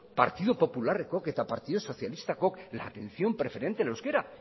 partidu popularrekook eta partidu sozialistakook la atención preferente al euskera